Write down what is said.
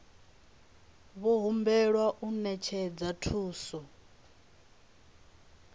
vho humbelwa u ṅetshedza thuso